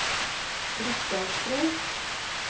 Briksdalsbre